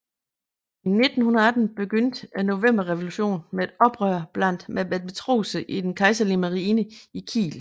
I 1918 begyndte novemberrevolutionen med et oprør blandt matroserne i den kejserlige marine i Kiel